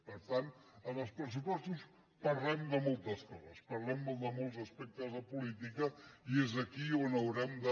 per tant en els pressupostos parlem de moltes coses parlem de molts aspectes de política i és aquí on haurem de